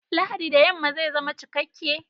Lahadi da yamma zai zama cikakke!